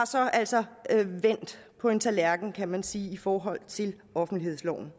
så altså vendt på en tallerken kan man sige i forhold til offentlighedsloven